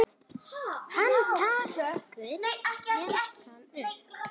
Hann tekur jakkann upp.